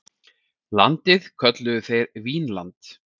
Landið kölluðu þeir Vínland.